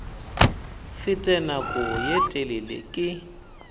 fete nako ye telele ke